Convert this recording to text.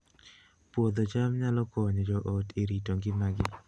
Puodho cham nyalo konyo joot e rito ngimagi